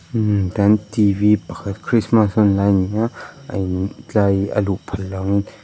mmm tan t v pakhat christmas hunlai ani a a in tlai hi a luh phallo in--